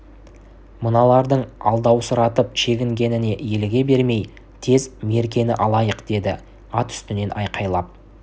мыналардың алдаусыратып шегінгеніне еліге бермей тез меркені алайық деді ат үстінен айқайлап